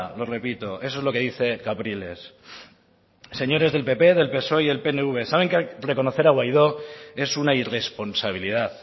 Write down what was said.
lo repito eso es lo que dice capriles señores del pp del psoe y el pnv saben que reconocer a guaidó es una irresponsabilidad